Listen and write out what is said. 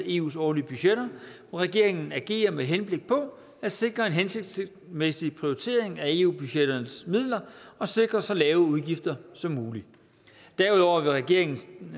eus årlige budgetter og regeringen agerer med henblik på at sikre en hensigtsmæssig prioritering af eu budgetternes midler og sikre så lave udgifter som muligt derudover er det regeringens